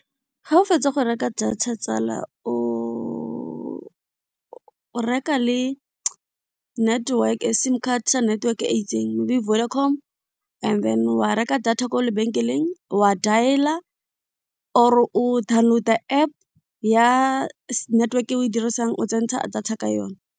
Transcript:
Ga o fetsa go reka data tsala o reka le network, sim card sa network e itseng Vodacom and then wa reka data ko lebenkeleng wa dialer or o download App ya network e o e dirisang o tsentsha data ka yona.